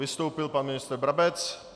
Vystoupil pan ministr Brabec.